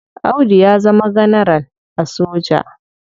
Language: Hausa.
Audu ya zama ganaral a soja.